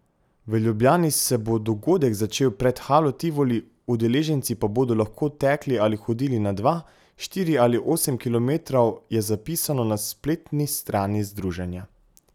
V Ljubljani se bo dogodek začel pred Halo Tivoli, udeleženci pa bodo lahko tekli ali hodili na dva, štiri ali osem kilometrov, je zapisano na spletni strani združenja.